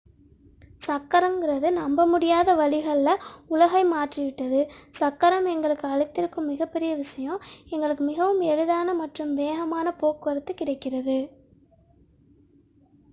சக்கரம் என்பது நம்பமுடியாத வழிகளில் உலகை மாற்றிவிட்டது சக்கரம் எங்களுக்கு அளித்திருக்கும் மிகப்பெரிய விஷயம் எங்களுக்கு மிகவும் எளிதான மற்றும் வேகமான போக்குவரத்து கிடைக்கிறது